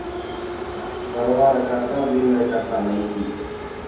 варвара краса длинная коса найти